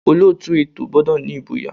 Olóòtú ètò gbọ́dọ̀ ní ìgboyà.